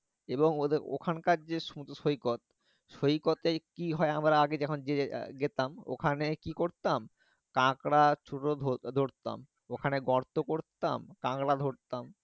এবং ওখান কার যে সমুদ্র সৈকত, সৈকতে কি হয় আমরা আগে যখন যেতাম ওখানে কি করতাম কাঁকড়া ছোট ধরতাম ওখানে গর্ত করতাম কাঁকড়া ধরতাম